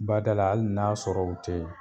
Badala hali n'a sɔrɔ u tɛ yen